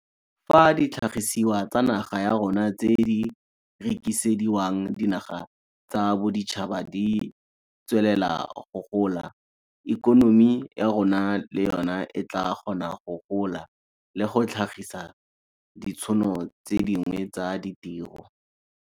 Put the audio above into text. Fa ditlhagisiwa tsa naga ya rona tse di rekisediwang dinaga tsa boditšhaba di tswelela go gola, ikonomi ya rona le yona e tla kgona go gola le go tlhagisa ditšhono tse dingwe tsa ditiro.